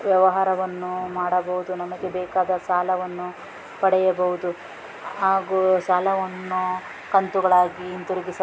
ವ್ಯವಹಾರವನ್ನು ಮಾಡಬಹುದು ನಮಗೆ ಬೇಕಾದ ಸಾಲವನ್ನು ಪಡೆಯಬಹುದು ಆಗೂ ಸಾಲವನ್ನು ಕಂತುಗಳಾಗಿ ಇಂತಿರುಗಿಸಬಹುದು.